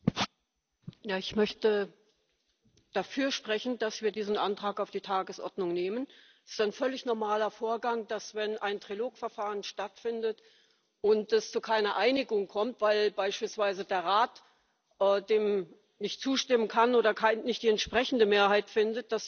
Herr Präsident! Ich möchte dafür sprechen, dass wir diesen Antrag auf die Tagesordnung nehmen. Es ist ein völlig normaler Vorgang, dass wir uns, wenn ein Trilogverfahren stattfindet und es zu keiner Einigung kommt, weil beispielsweise der Rat dem nicht zustimmen kann oder nicht die entsprechende Mehrheit findet,